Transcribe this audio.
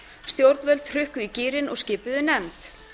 stjórnvöld hrukku í gírinn og skipuðu nefnd